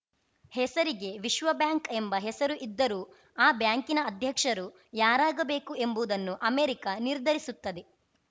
ಹೆಸರಿಗೆ ವಿಶ್ವ ಬ್ಯಾಂಕ್‌ ಎಂಬ ಹೆಸರು ಇದ್ದರೂ ಆ ಬ್ಯಾಂಕಿನ ಅಧ್ಯಕ್ಷರು ಯಾರಾಗಬೇಕು ಎಂಬುವುದನ್ನು ಅಮೆರಿಕ ನಿರ್ಧರಿಸುತ್ತದೆ